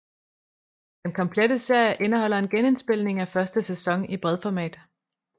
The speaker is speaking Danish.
Den Komplette Serie indeholder en genindspilning af første sæson i bredformat